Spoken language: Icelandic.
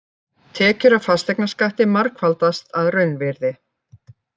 Tekjur af fasteignaskatti margfaldast að raunvirði